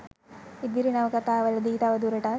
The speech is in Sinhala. ඉදිරි නවකතාවලදී තවදුරටත්